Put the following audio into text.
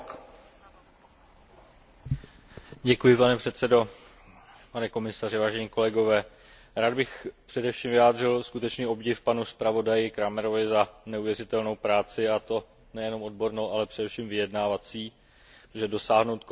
Rád bych především vyjádřil skutečný obdiv panu zpravodaji Krahmerovi za neuvěřitelnou práci, a to nejenom odbornou, ale především vyjednávací, protože dosáhnout kompromisního a takto vyváženého výsledku u komplexní a citlivé legislativy tohoto typu je téměř nadlidský výkon.